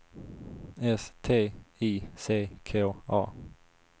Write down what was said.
S T I C K A